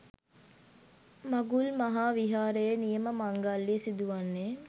මඟුල් මහා විහාරයේ නියම මංගල්‍යය සිදුවන්නේ